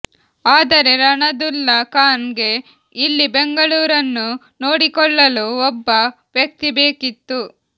ಆದರೆ ರಣದುಲ್ಲಾ ಖಾನ್ ಗೆ ಇಲ್ಲಿ ಬೆಂಗಳೂರನ್ನು ನೋಡಿಕೊಳ್ಳಲು ಒಬ್ಬ ವ್ಯಕ್ತಿ ಬೇಕಿತ್ತು